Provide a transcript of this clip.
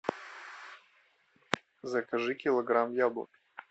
закажи килограмм яблок